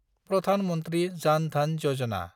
Pradhan Mantri Jan Dhan Yojana